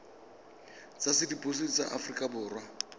tsa sepodisi sa aforika borwa